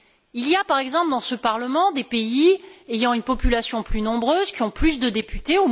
Il y a par exemple dans ce Parlement des pays ayant une population plus nombreuse, qui ont plus de députés.